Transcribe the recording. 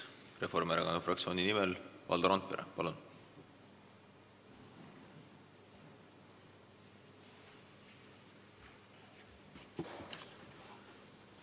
Reformierakonna fraktsiooni nimel Valdo Randpere, palun!